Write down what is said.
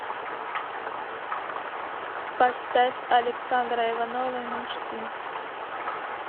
поставь александра иванова мечты